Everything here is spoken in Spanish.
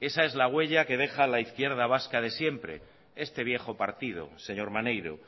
esa es la huella que deja la izquierda vasca de siempre este viejo partido señor maneiro